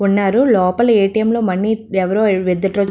ఉన్నారు లోపల A. T. M. లో మనీ ఎవరో విత్ డ్రా --